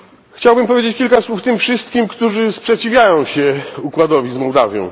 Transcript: Chciałbym powiedzieć kilka słów tym wszystkim, którzy sprzeciwiają się układowi z Mołdawią.